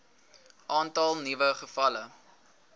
aantal nuwe gevalle